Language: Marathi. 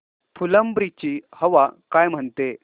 फुलंब्री ची हवा काय म्हणते